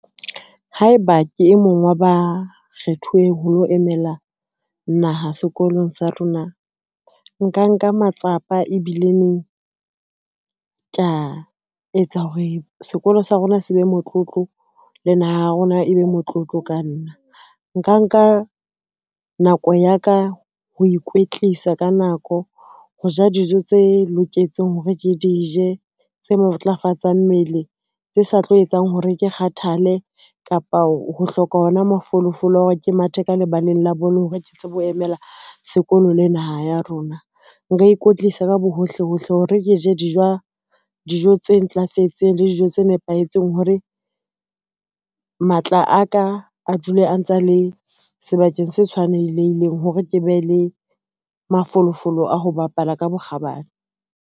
Haeba ke e mong wa ba kgethuweng ho lo emela naha sekolong sa rona, nka nka matsapa ebile neng ka etsa hore sekolo sa rona se be motlotlo le naha ya rona, e be motlotlo ka nna nka nka nako ya ka ho ikwetlisa ka nako. Ho ja dijo tse loketseng hore ke di je tse matlafatsang mmele tse sa tlo etsang hore ke kgathale kapa ho hloka hona mafolofolo a hore ke mathe ka lebaleng la bolo hore ke tsebe ho emela sekolo le naha ya rona. Nka ikwetlisa ka bohohle hohle hore ke je dijo tse ntlafetseng le dijo tse nepahetseng. Hore matla a ka a dule a ntsa le sebakeng se tshwanelehileng hore ke be le mafolofolo a ho bapala ka bokgabane.